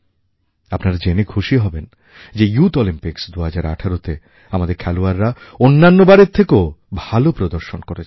আপনারা জেনে খুশি হবেন যে ইউথ অলিম্পিক্স 2018তে আমাদের খেলোয়াড়রা অন্যান্য বারের থেকেও ভালো প্রদর্শন করেছে